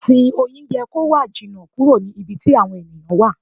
Ìsìn Oyin yẹ kó wà jìnà kúrò ní ibi tí àwọn ẹ̀yàn wà.